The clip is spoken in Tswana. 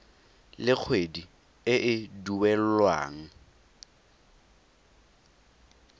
le kgwedi e e duelwang